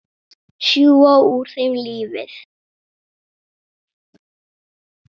Sjúga úr þeim lífið.